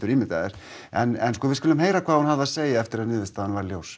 í dag en við skulum heyra hvað hún hafði að segja eftir að niðurstaðan varð ljós